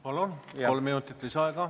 Palun, kolm minutit lisaaega!